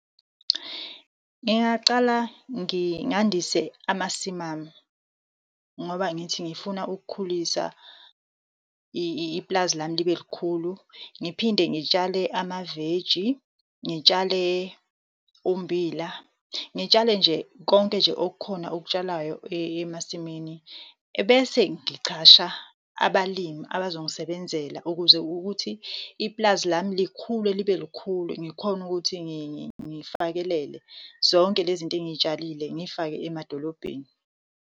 Ngingaqala ngandise amasimu ami, ngoba angithi ngifuna ukukhulisa ipulazi lami libe likhulu. Ngiphinde ngitshale amaveji, ngitshale ummbila, ngitshale nje konke nje okukhona okutshalayo emasimini. Ebese ngicasha abalimi abazo ngisebenzela, ukuze ukuthi ipulazi lami likhule libe likhulu. Ngikhone ukuthi ngifakelele zonke lezi zinto engiyitshalile, ngiyifake emadolobheni.